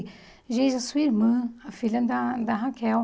Geise, a sua irmã, a filha da da Raquel.